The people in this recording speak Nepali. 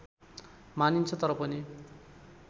मानिन्छ तर पनि